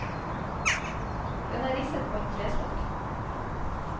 Den er risset på en trestokk.